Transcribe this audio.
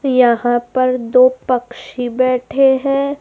यहां पर दो पक्षी बैठे हैं।